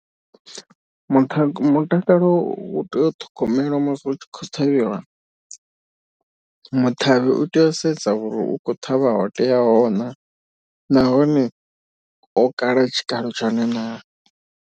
Mutha mutakalo u tea u ṱhogomela masi u tshi khou ṱhavhiwa. Muṱhavhi u tea u sedza uri u khou ṱhavha ho teaho naa nahone o kala tshikalo tshone naa.